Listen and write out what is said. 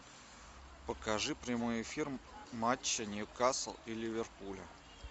покажи прямой эфир матча ньюкасл и ливерпуля